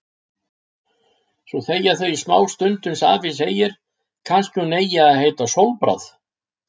Svo þegja þau í smástund uns afi segir: Kannski hún eigi að heita Sólbráð.